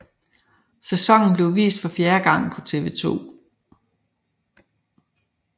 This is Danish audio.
Sæsonen blev vist for fjerde gang på TV 2